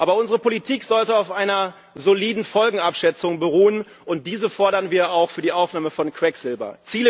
Aber unsere Politik sollte auf einer soliden Folgenabschätzung beruhen, und diese fordern wir auch für die Aufnahme von Quecksilber.